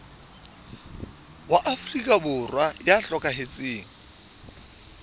wa afrika borwa ya hlokahetseng